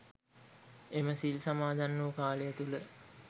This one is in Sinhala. එම සිල් සමාදන් වූ කාලය තුළ